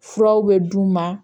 Furaw bɛ d'u ma